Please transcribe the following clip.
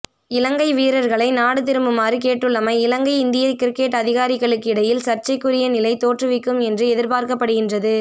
இலங்கை வீரர்களை நாடு திரும்புமாறு கேட்டுள்ளமை இலங்கை இந்திய கிரிக்கெட் அதிகாரிகளுக்கிடையில் சர்ச்சைக்குரிய நிலையைத் தோற்றுவிக்கும் என்று எதிர்ப்பார்க்கப்படுகின்றது